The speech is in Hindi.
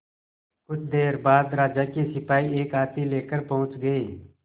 कुछ देर बाद राजा के सिपाही एक हाथी लेकर पहुंच गए